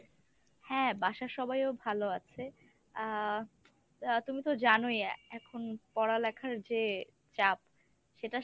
হ্যাঁ, বাসার সবাইও ভালো আছে আ তুমি তো জানোই এখন পড়ালেখার যে চাপ,